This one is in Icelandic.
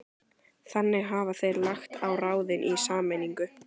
Þannig hafa þeir lagt á ráðin í sameiningu